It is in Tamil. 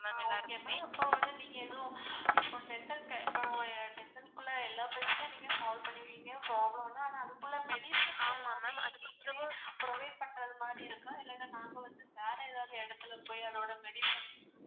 நீங்க எதுவும் இப்போ dental care இப்போ dental குள்ள எல்லா பிரச்னையும் நீங்க solve பண்ணுவீங்க problem இல்ல அனா அதுக்குள்ளே medicines எல்லாமே நீங்களே provide பண்றது மாதிரி இருக்கா இல்ல நாங்க வந்து வேற ஏதாவது எடத்துல போய் அதோட medicine